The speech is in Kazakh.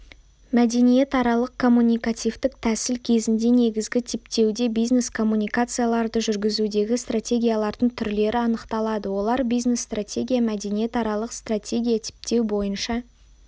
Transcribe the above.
мәдениетаралық-коммуникативтік тәсіл кезінде негізгі типтеуде бизнес-коммуникацияларды жүргізудегі стратегиялардың түрлері анықталады олар бизнес-стратегия мәдениаралық стратегия типтеу бойынша